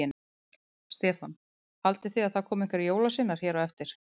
Stefán: Haldið þið að það komi einhverjir jólasveinar hér á eftir?